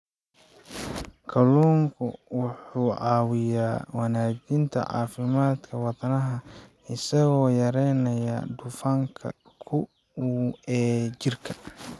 Kalluunku wuxuu caawiyaa wanaajinta caafimaadka wadnaha isagoo yareynaya dufanka xun ee jirka.